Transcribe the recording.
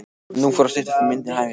Nú fór að styttast í að myndin hæfist.